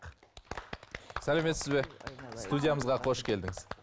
сәлеметсіз бе студиямызға қош келдіңіз